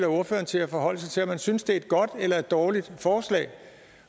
ordføreren til at forholde sig til om han synes det er et godt eller dårligt forslag